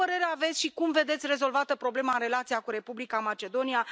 Ce părere aveți și cum vedeți rezolvată problema în relația cu Republica Macedonia?